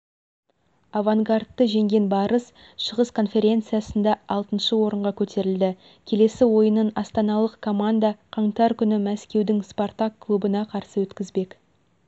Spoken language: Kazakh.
авангардты жеңген барыс шығыс конференциясында алтыншы орынға көтерілді келесі ойынын астаналық команда қаңтар күні мәскеудің спартак клубына қарсы өткізбек